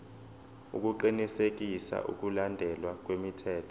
ukuqinisekisa ukulandelwa kwemithetho